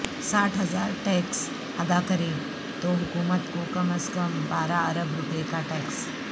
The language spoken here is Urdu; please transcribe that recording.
ساٹھ ہزار ٹیکس ادا کریں تو حکومت کو کم ازکم بارہ ارب روپےکا ٹیکس